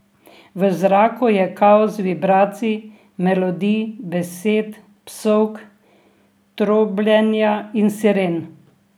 V zraku je kaos vibracij, melodij, besed, psovk, trobljenja in siren.